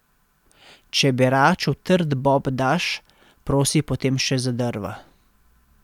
Če beraču trd bob daš, prosi potem še za drva.